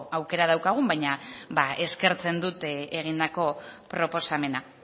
aukera daukagun baina eskertzen dut egindako proposamena